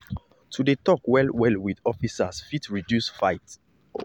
to dey talk well-well with officers fit help reduce wahala no be by fight.